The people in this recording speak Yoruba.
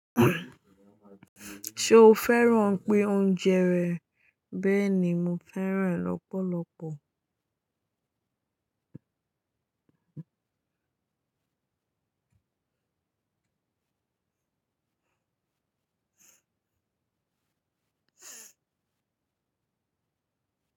Ṣo fẹ́ràn pé oúnjẹ rẹ̀ bẹ́ẹ̀ ni mo fẹ́ràn lọ́pọ̀lọpọ̀?